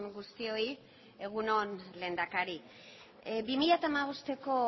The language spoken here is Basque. guztioi egun on lehendakari bi mila hamabosteko